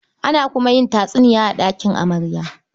Ana kuma yin tatsuniya a ɗakin amarya.